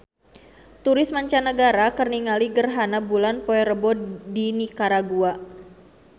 Turis mancanagara keur ningali gerhana bulan poe Rebo di Nikaragua